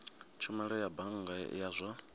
tshumelo ya bannga ya zwa